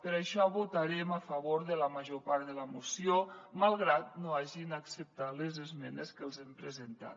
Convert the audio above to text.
per això votarem a favor de la major part de la moció malgrat que no hagin acceptat les esmenes que els hem presentat